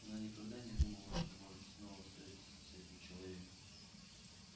она никогда не думала что может снова встретиться с этим человеком